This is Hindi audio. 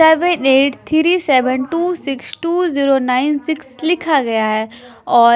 seven eight three seven two six two zero nine six लिखा गया है और--